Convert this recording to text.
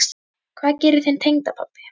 Hvað gerir þinn tengdapabbi?